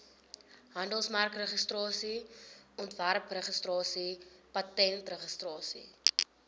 handelsmerkregistrasie ontwerpregistrasie patentregistrasie